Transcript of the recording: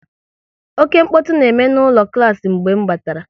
Oké mkpọtụ na-eme n'ụlọ klas mgbe m batara